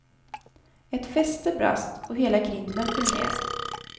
Ett fäste brast och hela grinden föll ned.